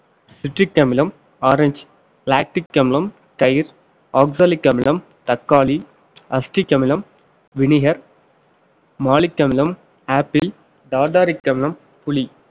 citric அமிலம் orange lactic அமிலம் தயிர் obsolic அமிலம் தக்காளி acetic அமிலம் vinegarmalic அமிலம் ஆப்பிள் tartaric அமிலம் புளி